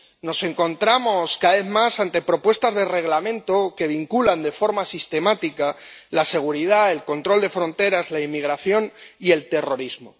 Nos encontramos cada vez más ante propuestas de reglamento que vinculan de forma sistemática la seguridad, el control de fronteras, la inmigración y el terrorismo.